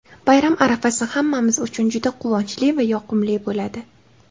Bayram arafasi hammamiz uchun juda quvonchli va yoqimli bo‘ladi.